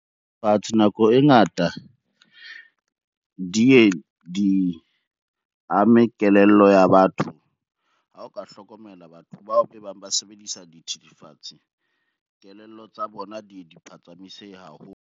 Nako e ngata di ye di ame kelello ya batho. Ha o ka hlokomela batho bao be bang ba sebedisa dithethefatsi, kelello tsa bona di phatsamisehe haholo.